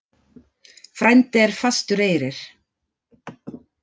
Frændi er fastur eyrir.